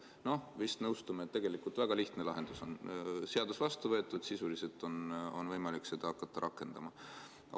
No vist nõustume, et tegelikult väga lihtne lahendus on seadus vastu võtta, sisuliselt on võimalik seda hakata rakendama.